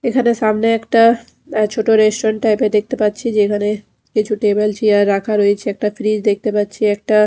এখানে সামনে একটা ছোট রেস্টুরেন্ট টাইপের দেখতে পাচ্ছি যেখানে কিছু টেবিল চেয়ার রাখা রয়েছে একটা ফ্রিজ দেখতে পাচ্ছি একটা ।